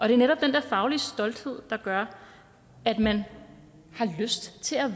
er netop den der faglige stolthed der gør at man har lyst til at